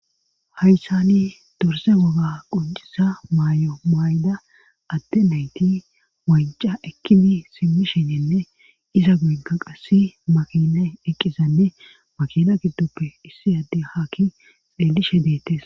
hayssani durse woga qucisa maay7o mayda atte nayti moyca ekkibi simmi shinenne iza guigga qassi makina eqqizanne makina giddoppe issi adde hakki peelishe deettes